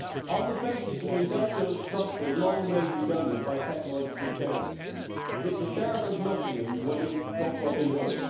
On the basis of an industrial structure long made redundant by technological change, it is the Sheriff of Nottingham winning, not Robin Hood.